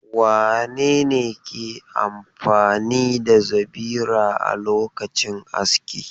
Wane ne ke amfani da zabira a lokacin aski?